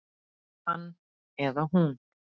Hann eða hún